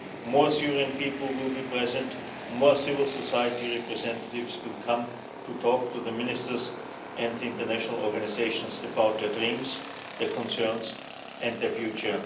More Syrian people will be present, more civil society representatives will come to talk to the Ministers and international organisations about their dreams, their concerns and the future.